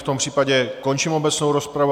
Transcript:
V tom případě končím obecnou rozpravu.